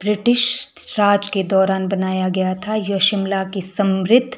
British Raj के दौरान बनाया गया था यह शिमला की समृद्ध--